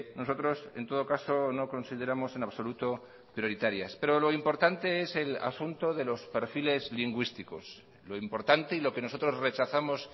nosotros en todo caso no consideramos en absoluto prioritarias pero lo importante es el asunto de los perfiles lingüísticos lo importante y lo que nosotros rechazamos